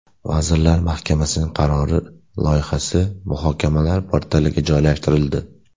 Vazirlar Mahkamasining qarori loyihasi muhokamalar portaliga joylashtirildi.